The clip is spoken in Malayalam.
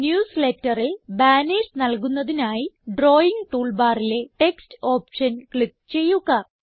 newsletterൽ ബാനർസ് നൽകുന്നതിനായി ഡ്രാവിംഗ് ടൂൾ ബാറിലെ ടെക്സ്റ്റ് ഓപ്ഷൻ ക്ലിക്ക് ചെയ്യുക